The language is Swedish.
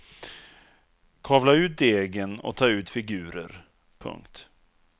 Kavla ut degen och tag ut figurer. punkt